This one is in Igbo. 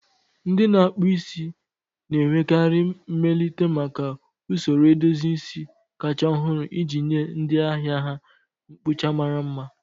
Ndị na-akpụ isi na-enwekarị mmelite maka usoro edozi isi kachasị ọhụrụ iji nye ndị ahịa ha mkpụcha mara mma.